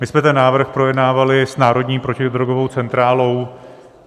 My jsme ten návrh projednávali s Národní protidrogovou centrálou.